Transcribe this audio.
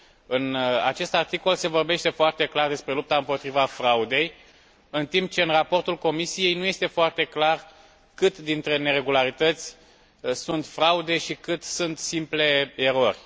În acest articol se vorbește foarte clar despre lupta împotriva fraudei, în timp ce în raportul Comisiei nu este foarte clar ce proporție dintre neregularități sunt fraude și ce proporție sunt simple erori.